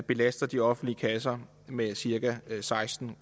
belaster de offentlige kasser med cirka seksten